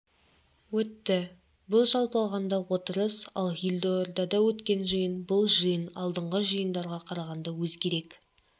өтті бұл жалпы алғанда отырыс ал елордада өтікен жиын бұл жиын алдыңғы жиындарға қарағанда өзгерек